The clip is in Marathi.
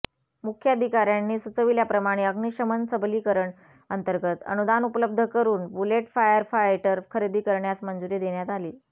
मुख्याधिकाऱयांनी सुचविल्याप्रमाणे अग्निशमन सबलीकरण अंतर्गत अनुदान उपलब्ध करून बुलेट फायरफायटर खरेदी करण्यास मंजुरी देण्यात आली